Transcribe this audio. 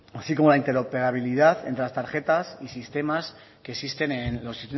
así como la interoperabilidad entre las tarjetas y sistemas que existen en los